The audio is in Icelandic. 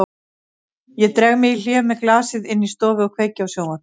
Ég dreg mig í hlé með glasið inn í stofu og kveiki á sjónvarpinu.